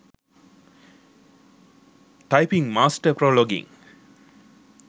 typing master pro login